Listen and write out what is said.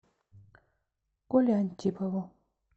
коле антипову